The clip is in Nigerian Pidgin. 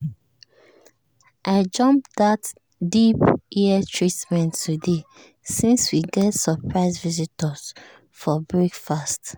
i jump that deep hair treatment today since we get surprise visitors for breakfast.